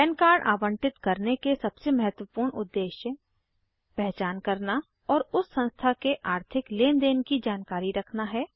पन कार्ड आवंटित करने के सबसे महत्वपूर्ण उद्देश्य पहचान करना और उस संस्था के आर्थिक लेन देन की जानकारी रखना है